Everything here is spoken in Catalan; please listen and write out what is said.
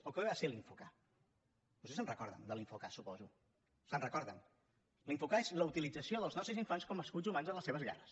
o què va ser l’info k vostès se’n recorden de l’info k suposo se’n recorden l’info k és la utilització dels nostres infants com a escuts humans en les seves guerres